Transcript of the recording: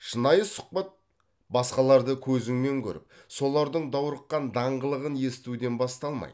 шынайы сұхбат басқаларды көзіңмен көріп солардың даурыққан даңғылын естуден басталмайды